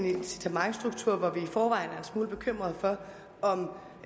smule bekymrede for om